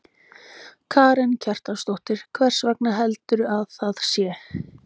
Karen Kjartansdóttir: Hvers vegna heldurðu að það sé?